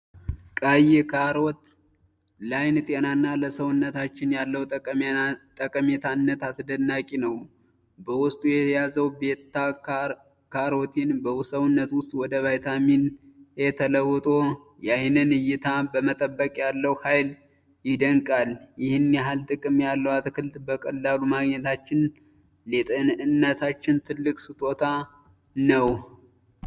ቀይ ካሮት ለዓይን ጤናና ለሰውነታችን ያለው ጠቃሚነት አስደናቂ ነው! በውስጡ የያዘው ቤታ-ካሮቲን በሰውነት ውስጥ ወደ ቫይታሚን 'ኤ' ተለውጦ የዓይንን ዕይታ በመጠበቅ ያለው ኃይል ይደንቃል። ይህን ያህል ጥቅም ያለው አትክልት በቀላሉ ማግኘታችን ለጤንነታችን ትልቅ ስጦታ ነው!